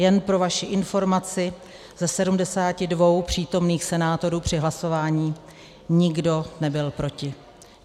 Jen pro vaši informaci, ze 72 přítomných senátorů při hlasování nikdo nebyl proti.